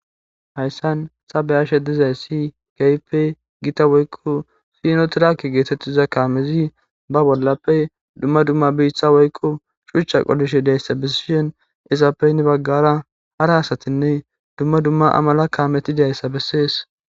Hayisani ta beyashe dizayisi kehippe daro gita woyikko sinotirake getetiza kamezi ba bolappe dumma dumma bessa woyikko shuchcha qolishe dizayisa besishshin izappe hani bagara hara asatinne dumma dumma amala kameti dizayisa beseesi